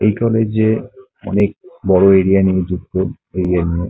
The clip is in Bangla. এই কলেজ -এ অনেক বড় এরিয়া নিয়ে যুক্ত এইজন্য ।